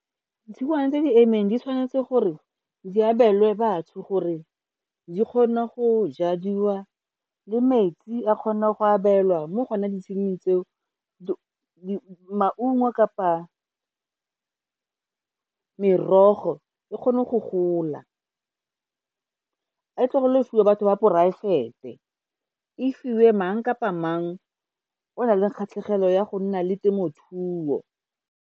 Ditshingwana tse di emeng di tshwanetse gore di abelwe batho gore di kgona go jadiwa le metsi a kgona go abelwa mo go one ditshenyi tseo maungo kapa merogo e kgone go gola. E tlogelwe go fiwa batho ba poraefete, e fiwe mang kapa mang o nang le kgatlhegelo ya go nna le temothuo.